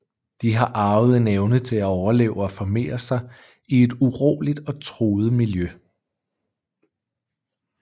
De har arvet en evne til at overleve og formere sig i et uroligt og truet miljø